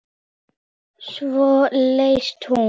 Svo lést hún.